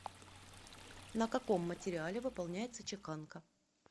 на каком материале выполняется чеканка